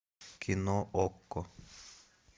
кино окко